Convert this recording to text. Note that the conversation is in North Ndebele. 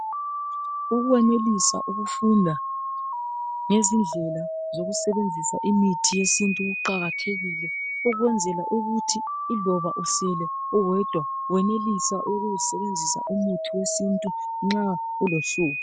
Ukwenelisa ukufunda ngezindlela zokusebenzisa imithi yesiNtu kuqakathekile ukwenzela ukuthi iloba usele uwedwa wenelise ukusebenzisa umuthi wesiNtu nxa ulohlupho.